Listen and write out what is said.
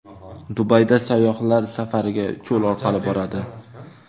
Dubayda sayyohlar safariga cho‘l orqali boradi.